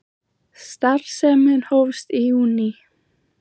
Starfsemin hófst í júní